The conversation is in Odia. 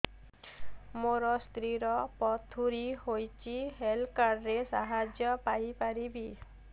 ମୋ ସ୍ତ୍ରୀ ର ପଥୁରୀ ହେଇଚି ହେଲ୍ଥ କାର୍ଡ ର ସାହାଯ୍ୟ ପାଇପାରିବି